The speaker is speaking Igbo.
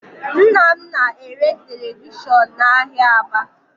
Nna m na-ere televishọn n'ahịa Aba